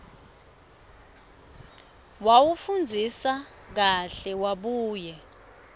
wawufundzisisa kahle wabuye